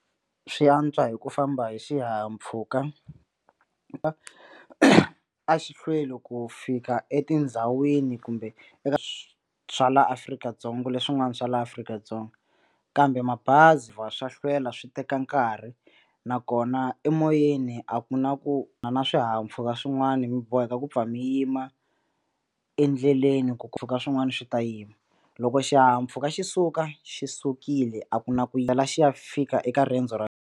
Swi antswa hi ku famba hi xihahampfhuka a xi hlweli ku fika etindhawini kumbe eka swa laha Afrika-Dzonga leswin'wana swa laha Afrika-Dzonga kambe mabazi va swa hlwela swi teka nkarhi nakona emoyeni a ku na ku na na swihahampfhuka swin'wana mi boheka ku pfa mi yima endleleni ku ku swin'wana swi ta yima loko xihahampfhuka xi suka xi sukile a ku na ku xi ya fika eka riendzo ra.